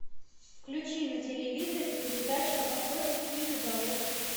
включи на телевизоре передачу охотник и рыболов